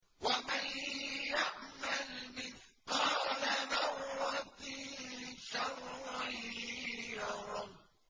وَمَن يَعْمَلْ مِثْقَالَ ذَرَّةٍ شَرًّا يَرَهُ